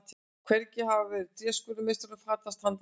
Hvergi hafði tréskurðarmeistaranum fatast handbragðið.